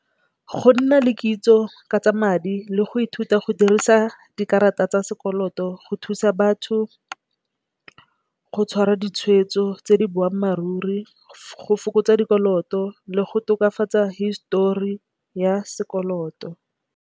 Go nna le kitso ka tsa madi le go ithuta go dirisa dikarata tsa sekoloto go thusa batho go tshwara ditshwetso tse di boammaaruri go fokotsa dikoloto le go tokafatsa histori ya sekoloto.